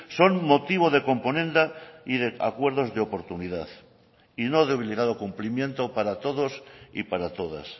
son motivo de componenda y de acuerdos de oportunidad y no de obligado cumplimiento para todos y para todas